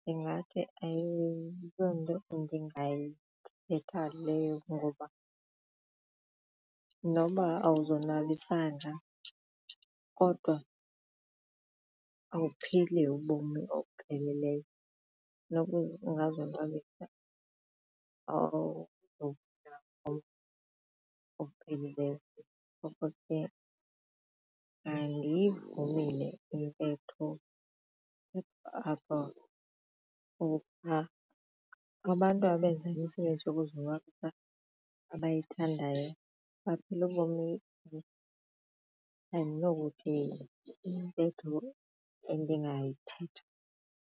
ndingathi ayiyonto endingayithetha leyo ngoba noba awuzonwabisanga kodwa awuphili ubomi obupheleleyo noba ungazonwabisa . Ngoko ke andiyivumi le intetho ukuba abantu abenza imisebenzi yokuzonwabisa abayithandayo baphila ubomi andinokuthi yintetho endingayithetha.